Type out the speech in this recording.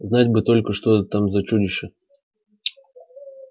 знать бы только что там за чудище